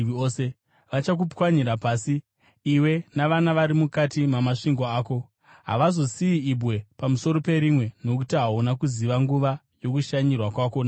Vachakupwanyira pasi, iwe navana vari mukati mamasvingo ako. Havazongosiyi ibwe pamusoro perimwe nokuti hauna kuziva nguva yokushanyirwa kwako naMwari.”